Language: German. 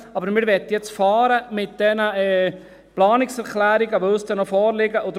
Aber wir möchten jetzt mit diesen Planungserklärungen fahren, die uns dann noch vorliegen werden.